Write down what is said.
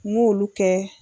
N k'olu kɛ.